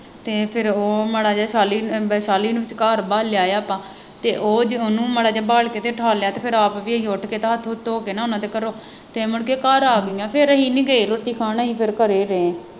ਅਤੇ ਫੇਰ ਉਹ ਮਾੜਾ ਜਿਹਾ ਸਾਅਲੀ ਅਹ ਸਾਅਲੀ ਨੂੰ ਘਰ ਲਿਆਏ ਆਪਾਂ ਅਤੇ ਉਹ ਜੇ ਉਹਨੂੰ ਮਾੜਾ ਜਿਹਾ ਫੜ ਕੇ ਤੇ ਉਠਾਲ ਲਿਆ ਤੇ ਫੇਰ ਆਪ ਵੀ ਅਸੀਂ ਉੱਠ ਕੇ ਤੇ ਹੱਥ ਹੁੱਥ ਧੋ ਕੇ ਨਾ ਉਹਨਾ ਦੇ ਘਰੋਂ, ਤੇ ਮੁੜਕੇ ਘਰ ਆ ਗਈਆਂ, ਫੇਰ ਅਸੀਂ ਨਹੀਂ ਗਏ ਰੋਟੀ ਖਾਣ, ਨਹੀਂ ਫੇਰ ਘਰੇ ਰਹੇਂ